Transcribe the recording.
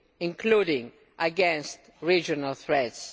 including against regional threats.